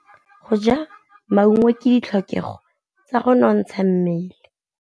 Go ja maungo ke ditlhokegô tsa go nontsha mmele.